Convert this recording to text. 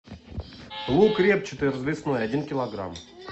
лук репчатый развесной один килограмм